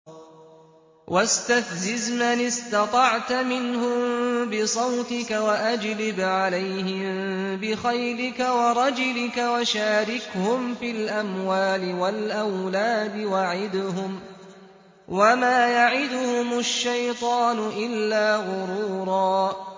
وَاسْتَفْزِزْ مَنِ اسْتَطَعْتَ مِنْهُم بِصَوْتِكَ وَأَجْلِبْ عَلَيْهِم بِخَيْلِكَ وَرَجِلِكَ وَشَارِكْهُمْ فِي الْأَمْوَالِ وَالْأَوْلَادِ وَعِدْهُمْ ۚ وَمَا يَعِدُهُمُ الشَّيْطَانُ إِلَّا غُرُورًا